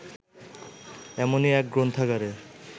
এমনই এক গ্রন্থাগারের